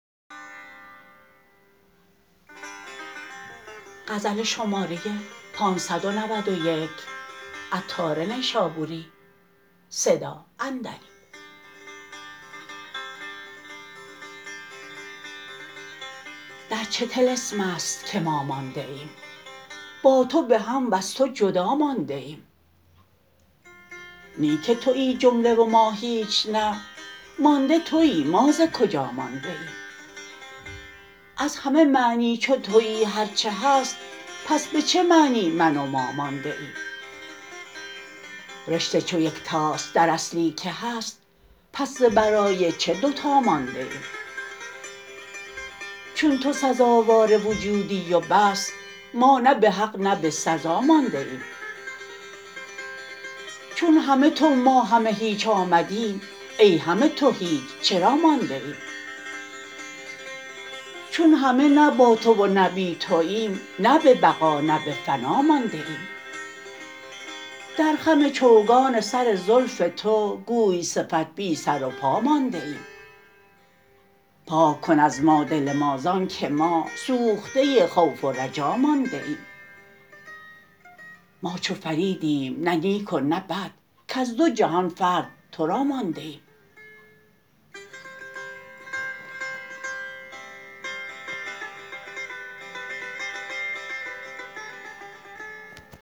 در چه طلسم است که ما مانده ایم با تو به هم وز تو جدا مانده ایم نی که تویی جمله و ما هیچ نه مانده تویی ما ز کجا مانده ایم از همه معنی چو تویی هرچه هست پس به چه معنی من و ما مانده ایم رشته چو یکتاست در اصلی که هست پس ز برای چه دوتا مانده ایم چون تو سزاوار وجودی و بس ما نه به حق نه به سزا مانده ایم چون همه تو ما همه هیچ آمدیم ای همه تو هیچ چرا مانده ایم چون همه نه با تو و نه بی توییم نه به بقا نه به فنا مانده ایم در خم چوگان سر زلف تو گوی صفت بی سر و پا مانده ایم پاک کن از ما دل ما زانکه ما سوخته خوف و رجا مانده ایم ما چو فریدیم نه نیک و نه بد کز دو جهان فرد تو را مانده ایم